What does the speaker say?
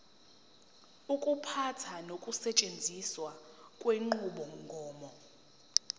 ukuphatha nokusetshenziswa kwenqubomgomo